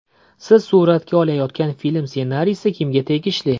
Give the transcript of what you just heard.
Siz suratga olayotgan film ssenariysi kimga tegishli?